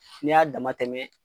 Ni y'a dama tɛmɛ.